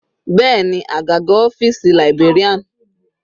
Bẹ́ẹ̀ni, àgàgà ọ́fìsì librarian.